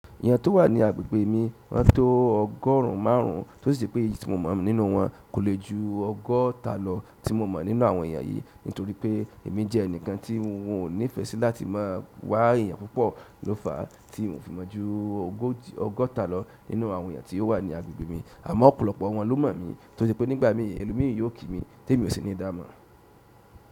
Ènìyàn tó wà ní agbègbè mi woń tó ọgọ́rùn ún márùn ún, tó sì pé èyí tí mo mọ̀ nínú wọn kò lè ju ọgọ́ta lọ tí mo mọ̀ nínú àwọn ènìyàn yìí, nítorí pé èmi jẹ́ ẹnìkan tí won ò nífẹ̀ẹ́ sí láti má a wá ènìyàn púpọ̀ ló fàá tí n ò fi mọ̀ ju ọgọ́ta lọ nínú àwọn ènìyàn tí ó wà ní agbègbè mi, àmọ́ ọ̀pọ̀lọpọ̀ ọ̀wọ́n ló mọ̀ mí, tose pé nígbà mìí ẹlomìí yóò ki mi tí èmi ò sì ní ìdámọ̀.